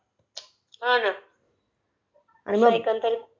हा नो...आणि मग एकंदरीत